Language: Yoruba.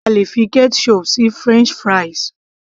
a lè fi ketchup sí french fries